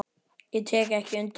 Ég tek ekki undir það.